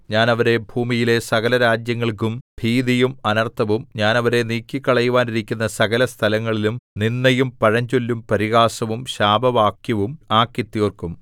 ഞാൻ അവരെ ഭൂമിയിലെ സകലരാജ്യങ്ങൾക്കും ഭീതിയും അനർത്ഥവും ഞാൻ അവരെ നീക്കിക്കളയുവാനിരിക്കുന്ന സകലസ്ഥലങ്ങളിലും നിന്ദയും പഴഞ്ചൊല്ലും പരിഹാസവും ശാപവാക്യവും ആക്കിത്തീർക്കും